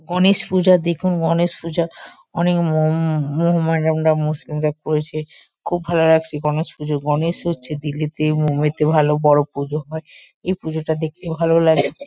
গণেশ পূজা দেখুন গণেশ পূজা। অনেক মমম মহামেডানরা মুসলিমরা করেছে। খুব ভালো লাগছে গণেশ পুজো। গণেশ হচ্ছে দিল্লিতে মুম্বাইতে ভালো বড়ো পুজো হয়। এই পুজোটা দেখতে ভালো লাগে।